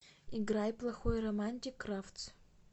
играй плохой романтик кравц